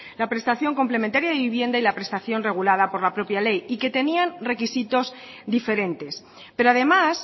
la prestación complementaria de vivienda y la prestación regulada por la propia ley y que tenían requisitos diferentes pero además